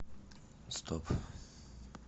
стоп